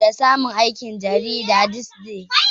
Shekaran bola uku da samun aiki gidan jaridar This Day.